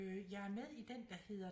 Jeg er med i den der hedder